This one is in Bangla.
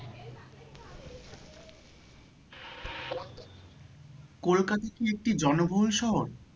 কলকাতা কি একটি জনবহুল শহর?